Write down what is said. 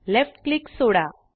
left click soda